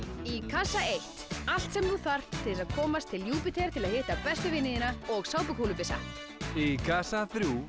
í kassa einum allt sem þú þarft til þess að komast til Júpíter til að hitta bestu vini þína og sápukúlubyssa í kassa þrjú